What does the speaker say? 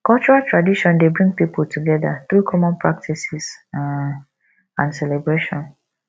cultural tradition dey bring pipo together through common practices um and celebration